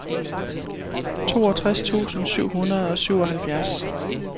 toogtres tusind syv hundrede og syvoghalvfjerds